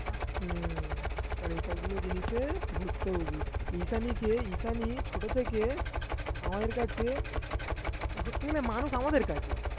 হ্যাঁ কারণ এই সবগুলো জিনিসে ভুক্তভোগী ঈশানীকে ঈশানী ছোট থেকে আমাদের কাছে ধরতে গেলে মানুষ আমাদের কাছে